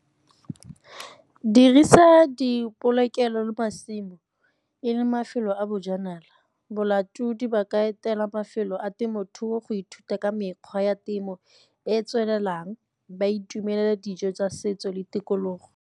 Dirisa dipolokelo le masimo e le mafelo a bojanala, bolatodi ba ka etela mafelo a temothuo go ithuta ka mekgwa ya temo e e tswelelang, ba itumelela dijo tsa setso le tikologo.